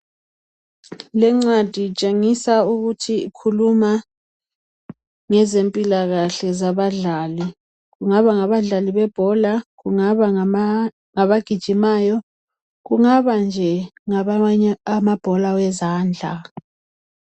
Lencwadi itshengisa ukuthi ikhuluma ngezempilakahle zabadlali. Kungaba ngabadlali bebhola, kungaba ngabagijimayo, kungaba nje ngabamanye amabhola ezandla.